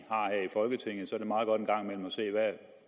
folketinget